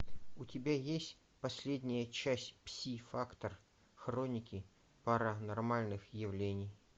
у тебя есть последняя часть пси фактор хроники паранормальных явлений